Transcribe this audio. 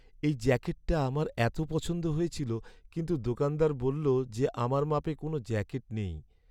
এই জ্যাকেটটা আমার এত পছন্দ হয়েছিল, কিন্তু দোকানদার বললো যে আমার মাপে কোনও জ্যাকেট নেই।